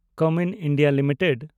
Cummins India limited